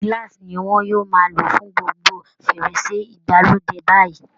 Glass ni wọ́n yóò máa lò fún gbogbo ferese ìgbàlódé báyìí